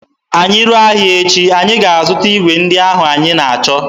Anyị ruo ahịa echi, anyị ga-azụta igwe ndị ahụ anyị na-achọ